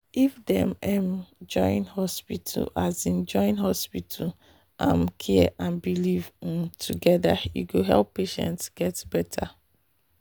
if dem um join hospital um join hospital um care and belief um together e go help patients get better.